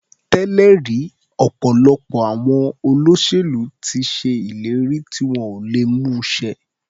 Tẹ́lẹ̀ rí ọ̀pọ̀lọpọ̀ àwọn olóṣèlú ti ṣe ìlérí tí wọn ò lè mú ṣẹ.